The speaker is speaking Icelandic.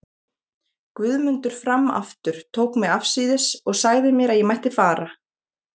Guðmundur fram aftur, tók mig afsíðis og sagði mér að ég mætti fara.